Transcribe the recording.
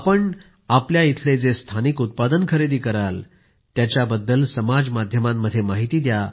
आपण आपल्या इथले जे स्थानिक उत्पादन खरेदी कराल त्यांबद्दल समाजमाध्यमांमध्ये माहिती द्या